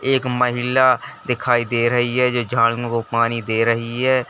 एक महिला दिखाई दे रही है जो झाड़ियों को पानी दे रही है।